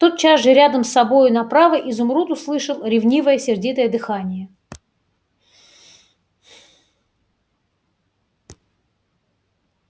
тотчас же рядом с собою направо изумруд услышал ревнивое сердитое дыхание